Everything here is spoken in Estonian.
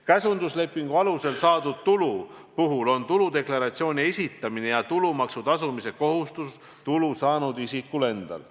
Käsunduslepingu alusel saadud tulu puhul on tuludeklaratsiooni esitamine ja tulumaksu tasumise kohustus tulu saanud isikul endal.